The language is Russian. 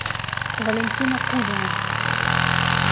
валентина кузина